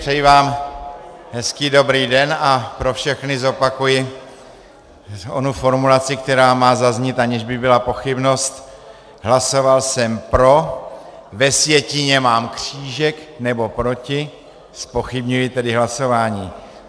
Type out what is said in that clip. Přeji vám hezký dobrý den a pro všechny zopakuji onu formulaci, která má zaznít, aniž by byla pochybnost: Hlasoval jsem pro, ve sjetině mám křížek, nebo proti, zpochybňuji tedy hlasování.